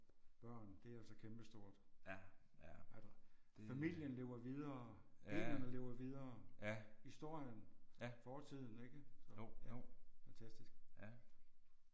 Børn det er altså kæmpestort. At familien lever videre generne lever videre historien fortiden ikke fantastisk